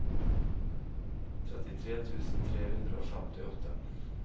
trettitre tusen tre hundre og femtiåtte